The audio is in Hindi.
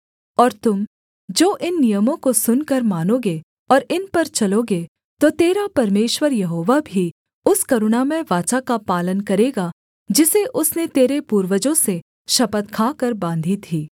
और तुम जो इन नियमों को सुनकर मानोगे और इन पर चलोगे तो तेरा परमेश्वर यहोवा भी उस करुणामय वाचा का पालन करेगा जिसे उसने तेरे पूर्वजों से शपथ खाकर बाँधी थी